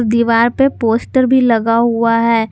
दीवार पे पोस्टर भी लगा हुआ है।